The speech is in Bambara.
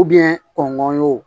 kɔngɔ y'o